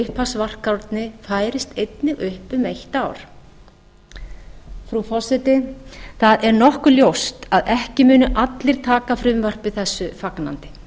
að þessi upphafsvarkárni færist einnig upp um eitt ár frú forseti það er nokkuð ljóst að ekki munu allir taka frumvarpi þessu fagnandi